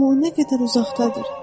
Amma o nə qədər uzaqdadır!